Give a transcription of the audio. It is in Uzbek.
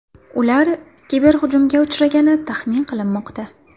Ular kiberhujumga uchragani taxmin qilinmoqda.